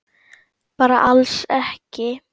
Bara alls ekki?